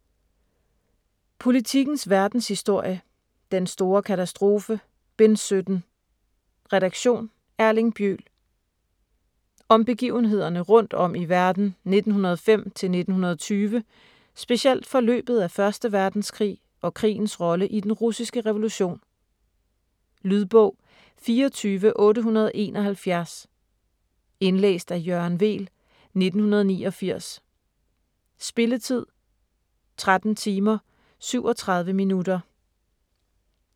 Politikens verdenshistorie: Den store katastrofe: Bind 17: redaktion: Erling Bjøl Om begivenhederne rundt om i verden 1905-1920; specielt forløbet af 1. verdenskrig og krigens rolle i den russiske revolution. Lydbog 24871 Indlæst af Jørgen Weel, 1989. Spilletid: 13 timer, 37 minutter.